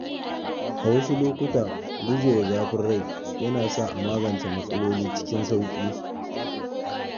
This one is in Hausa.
A wasu lokuta, gujewa zafin rai yana sa a magance matsaloli cikin sauƙi.